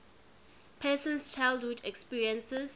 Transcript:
person's childhood experiences